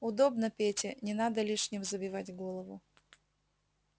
удобно пете не надо лишним забивать голову